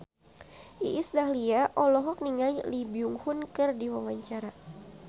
Iis Dahlia olohok ningali Lee Byung Hun keur diwawancara